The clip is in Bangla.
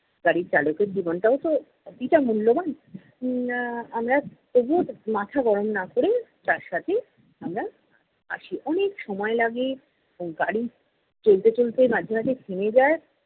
গাড়ির চালকের জীবনটাও তো মূল্যবান। আহ আমরা তবুও মাথা গরম না ক'রে তার সাথে আমরা আসি। অনেক সময় লাগে এবং গাড়ি চলতে চলতে মাঝে মাঝে থেমে যায়।